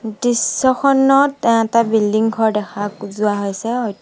দৃশ্যখনত এটা বিল্ডিং ঘৰ দেখা যোৱা হৈছে হয়টো--